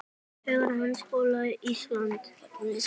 Þegar Háskóli Íslands